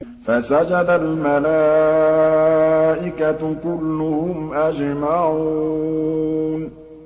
فَسَجَدَ الْمَلَائِكَةُ كُلُّهُمْ أَجْمَعُونَ